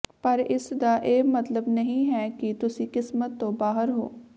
ਪਰ ਇਸ ਦਾ ਇਹ ਮਤਲਬ ਨਹੀਂ ਹੈ ਕਿ ਤੁਸੀਂ ਕਿਸਮਤ ਤੋਂ ਬਾਹਰ ਹੋ